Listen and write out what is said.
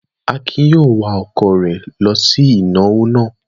Akin yóò wa ọkọ̀ rẹ̀ lọ sí ìnáwó náà.